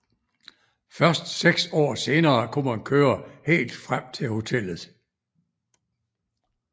Først seks år senere kunne man køre helt frem til hotellet